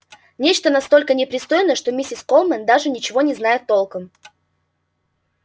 нечто настолько непристойное что миссис колмен даже ничего не знает толком